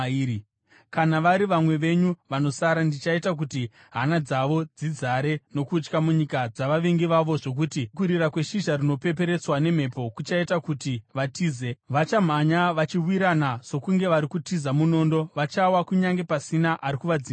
“ ‘Kana vari vamwe venyu vanosara, ndichaita kuti hana dzavo dzizare nokutya munyika dzavavengi vavo zvokuti kurira kweshizha rinopeperetswa nemhepo kuchaita kuti vatize. Vachamhanya vachiwirana sokunge vari kutiza munondo, vachawa kunyange pasina ari kuvadzinganisa.